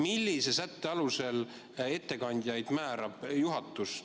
Millise sätte alusel määrab ettekandjaid juhatus?